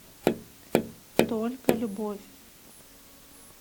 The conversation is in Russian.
только любовь